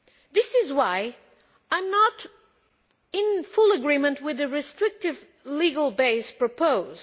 This is why I am not in full agreement with the restrictive legal basis proposed.